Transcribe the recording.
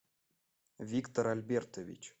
виктор альбертович